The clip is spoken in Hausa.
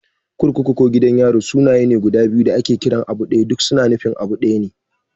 Kurkuku ko Gidan yari sunaye ne guda biyu da ake kiran abu ɗaya. Duk su na nufin abu ɗaya ne.